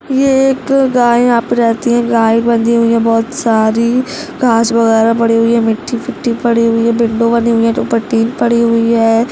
ये एक गाय है यहाँ पे रहती है गाय बंधी हुई है बहुत सारी घास वगेरा पड़ी है मिटी फीति पड़ी है विन्डो बनी हुई है ऊपर पड़ी हुई है।